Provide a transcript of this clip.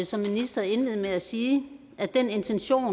som minister indlede med at sige at den intention